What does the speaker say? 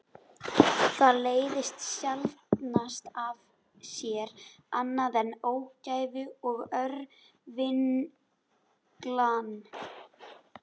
Það leiðir sjaldnast af sér annað en ógæfu og örvinglan.